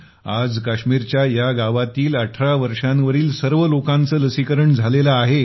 आज काश्मीरच्या या गावातील 18 वर्षांवरील सर्व लोकांचे लसीकरण झालेलं आहे